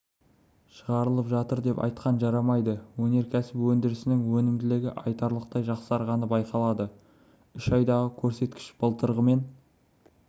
шығарылып жатыр деп айтқан жарамайды өнеркәсіп өндірісінің өнімділігі айтарлықтай жақсарғаны байқалады үш айдағы көрсеткіш былтырғымен